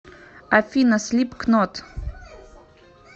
афина слипкнот